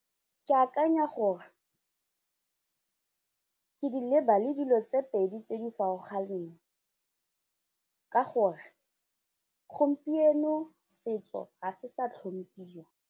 Ke akanya gore ke di leba le dilo tse pedi tse di farologaneng ka gore gompieno setso ha se sa tlhomphiwa.